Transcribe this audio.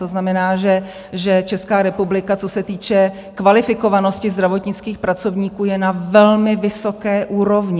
To znamená, že Česká republika, co se týče kvalifikovanosti zdravotnických pracovníků, je na velmi vysoké úrovni.